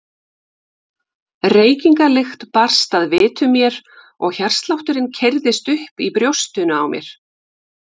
Reykingalykt barst að vitum mér og hjartslátturinn keyrðist upp í brjóstinu á mér.